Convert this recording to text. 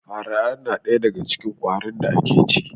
Fara na ɗaya daga cikin ƙwatin da ake ci